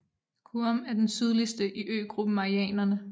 Guam er den sydligste i øgruppen Marianerne